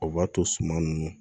O b'a to suma nunnu